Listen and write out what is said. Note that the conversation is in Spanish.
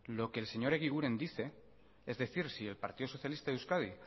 lo que el señor egiguren dice es decir si el partido socialista de euskadi